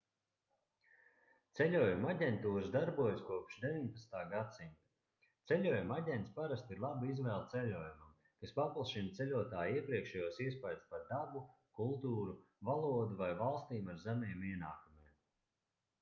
ceļojumu aģentūras darbojas kopš 19. gadsimta ceļojumu aģents parasti ir laba izvēle ceļojumam kas paplašina ceļotāja iepriekšējos iespaidus par dabu kultūru valodu vai valstīm ar zemiem ienākumiem